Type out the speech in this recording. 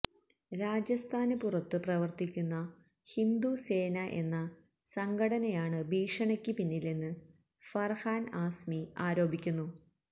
രാജസ്ഥാന് പുറത്ത് പ്രവര്ത്തിക്കുന്ന ഹിന്ദുസേന എന്ന സംഘടനയാണ് ഭീഷണിക്ക് പിന്നിലെന്ന് ഫര്ഹാന് ആസ്മി ആരോപിക്കുന്നു